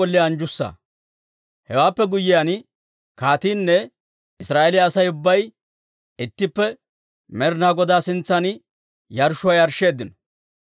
Hewaappe guyyiyaan kaatiinne Israa'eeliyaa Asay ubbay ittippe Med'inaa Godaa sintsan yarshshuwaa yarshsheeddino.